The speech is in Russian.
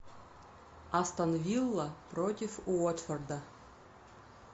астон вилла против уотфорда